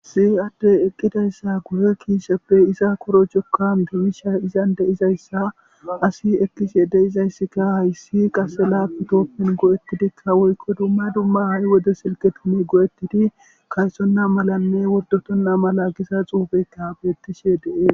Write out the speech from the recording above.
Si addey eqqidayssa guhe kiisheppe iza koro cokka mdemisha izan deizayssa asi ekkis yede izayssika hayssi qase lapu tooppen go'ettidikka woykko dumma dumma a'i wode silqe tume go'ettidi kaysonna malanne wordotonna mala gisa xuubeykka beettishe dee